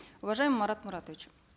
уважаемый марат муратович